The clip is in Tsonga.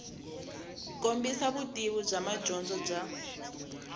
kombisa vutivi bya madyondza bya